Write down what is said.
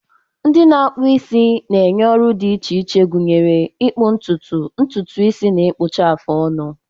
Ndi na-akpu isi na-enye ọrụ dị iche iche, gụnyere ịkpụ ntutu, ntutu isi, na ịkpụcha afụ ọnụ.